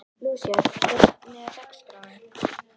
Lúísa, hvernig er dagskráin?